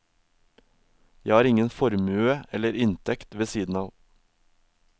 Jeg har ingen formue eller inntekt ved siden av.